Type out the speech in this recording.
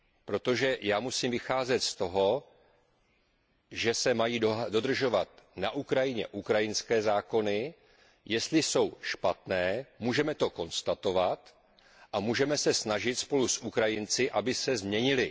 Protože já musím vycházet z toho, že se mají na Ukrajině dodržovat ukrajinské zákony. Jestli jsou špatné, můžeme to konstatovat a můžeme se snažit spolu s Ukrajinci, aby se změnily.